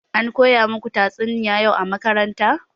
Ankoya muku tatsuniya yau a makaranta?